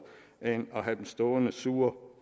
end at have dem stående sure